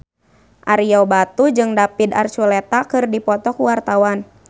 Ario Batu jeung David Archuletta keur dipoto ku wartawan